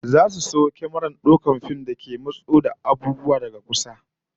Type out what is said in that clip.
Za su sayo kyamarar daukar fim da ke matso da abubuwa kusa kwarai, ko nesa kwarai